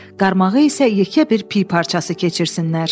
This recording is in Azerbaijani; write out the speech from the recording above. Qarmağı isə yekə bir piy parçası keçirsinlər.